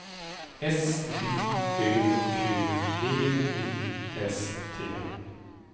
S J Ö Q V I S T